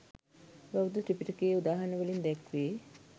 බෞද්ධ ත්‍රිපිටකයේ උදාහරණ වලින් දැක්වේ.